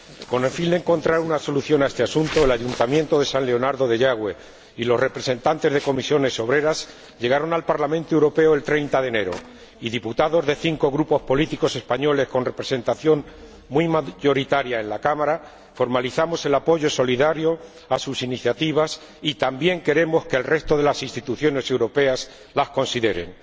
Con el fin de encontrar una solución a este asunto, el Ayuntamiento de San Leonardo de Yagüe y los representantes de Comisiones Obreras llegaron al Parlamento Europeo el 30 de enero, y diputados de cinco grupos políticos españoles con representación muy mayoritaria en la Cámara formalizamos el apoyo solidario a sus iniciativas y también queremos que el resto de las instituciones europeas las consideren.